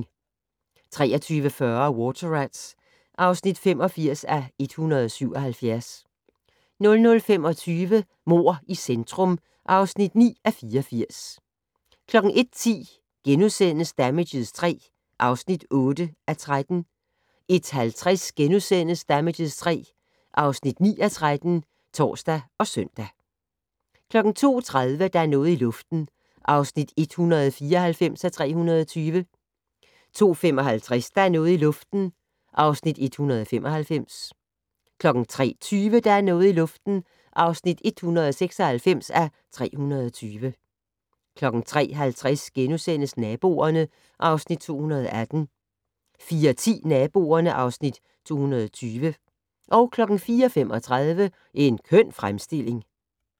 23:40: Water Rats (85:177) 00:25: Mord i centrum (9:84) 01:10: Damages III (8:13)* 01:50: Damages III (9:13)*(tor og søn) 02:30: Der er noget i luften (194:320) 02:55: Der er noget i luften (195:320) 03:20: Der er noget i luften (196:320) 03:50: Naboerne (Afs. 218)* 04:10: Naboerne (Afs. 220) 04:35: En køn fremstilling